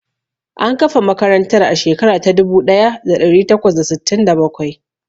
An kafa makarantar a shekara ta dubu ɗaya da ɗari takwas da sittin da bakwai.